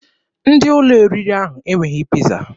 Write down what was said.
Ndị ụlọ oriri ahụ enweghị Piiza.